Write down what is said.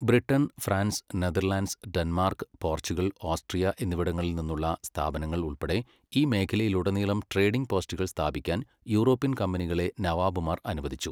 Britain, France, Netherlands, Denmark, Portugal, Austria എന്നിവിടങ്ങളിൽ നിന്നുള്ള സ്ഥാപനങ്ങൾ ഉൾപ്പെടെ ഈ മേഖലയിലുടനീളം ട്രേഡിംഗ് പോസ്റ്റുകൾ സ്ഥാപിക്കാൻ യൂറോപ്യൻ കമ്പനികളെ നവാബുമാർ അനുവദിച്ചു.